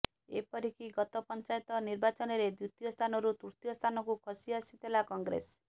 ଏପରିକି ଗତ ପଞ୍ଚାୟତ ନିର୍ବାଚନରେ ଦ୍ୱିତୀୟ ସ୍ଥାନରୁ ତୃତୀୟ ସ୍ଥାନକୁ ଖସି ଆସିଥିଲା କଂଗ୍ରେସ